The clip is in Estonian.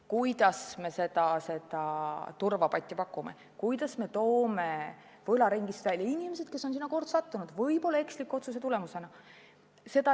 Kuidas me seda turvapatja pakume, kuidas me toome võlaringist välja inimesed, kes on sinna kord sattunud, võib-olla eksliku otsuse tagajärjel?